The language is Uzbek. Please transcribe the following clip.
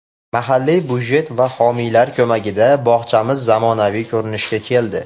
Mahalliy budjet va homiylar ko‘magida bog‘chamiz zamonaviy ko‘rinishga keldi.